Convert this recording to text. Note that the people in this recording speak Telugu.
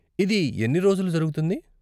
ఇది ఎన్ని రోజులు జరుగుతుంది?